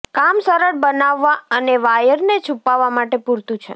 કામ સરળ બનાવવા અને વાયરને છૂપાવવા માટે પૂરતું છે